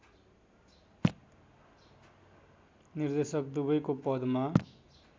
निर्देशक दुबैको पदमा